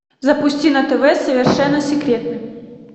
запусти на тв совершенно секретно